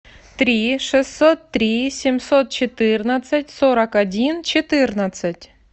три шестьсот три семьсот четырнадцать сорок один четырнадцать